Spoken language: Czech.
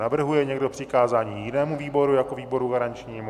Navrhuje někdo přikázání jinému výboru jako výboru garančnímu?